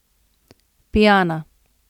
Pijana!